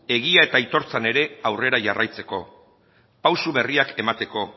egia eta aitortzan ere aurrera jarraitzeko pausu berriak emateko